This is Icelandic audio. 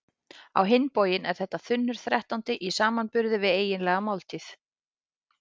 Á hinn bóginn er þetta þunnur þrettándi í samanburði við eiginlega máltíð.